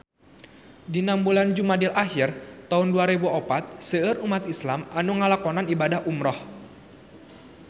Dina bulan Jumadil ahir taun dua rebu opat seueur umat islam nu ngalakonan ibadah umrah